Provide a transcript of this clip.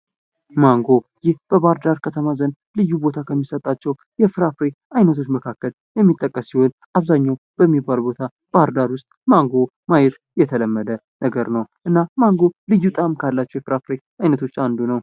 ማንጎ ፦ ይህ በባህር ዳር ከተማ ዘንድ ልዩ ቦታ ከሚሰጣቸው የፍራፍሬ አይነቶች መካከል የሚጠቀስ ሲሆን አብዛኛው በሚባል ቦታ ባህርዳር ውስጥ ማንጎ ማየት የተለመደ ነገር ነው እና ማንጎ ልዩ ጣእም ካላቸው የፍራፍሬ አይነቶች አንዱ ነው ።